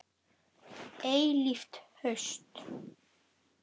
Eilíft haust.